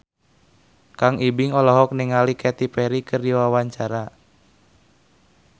Kang Ibing olohok ningali Katy Perry keur diwawancara